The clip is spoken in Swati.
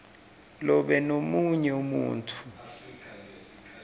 nobe lomunye umuntfu